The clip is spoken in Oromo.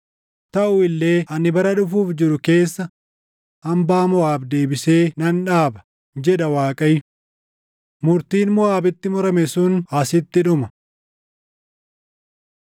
“Taʼu illee ani bara dhufuuf jiru keessa hambaa Moʼaab deebisee nan dhaaba” jedha Waaqayyo. Murtiin Moʼaabitti murame sun asitti dhuma.